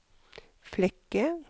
Flekke